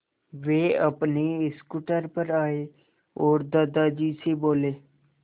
वे अपने स्कूटर पर आए और दादाजी से बोले